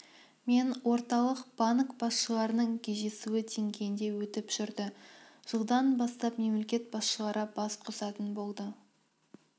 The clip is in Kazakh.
мен орталық банк басшыларының кездесуі деңгейінде өтіп жүрді жылдан бастап мемлекет басшылары бас қосатын болды